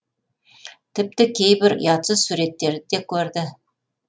тіпті кейбір ұятсыз суреттерді де көрді